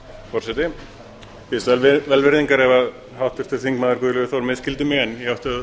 forseti ég biðst velvirðingar ef háttvirtur þingmaður guðlaugur þór misskildi mig en ég átti að